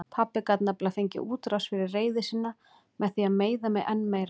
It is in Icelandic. Pabbi gat nefnilega fengið útrás fyrir reiði sína með því að meiða mig enn meira.